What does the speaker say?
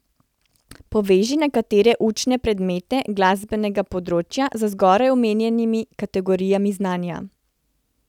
Poveži nekatere učne predmete glasbenega področja z zgoraj omenjenimi kategorijami znanja.